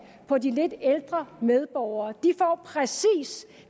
på de lidt ældre medborgere de får præcis